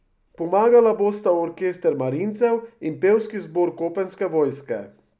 Pomagala bosta orkester marincev in pevski zbor kopenske vojske.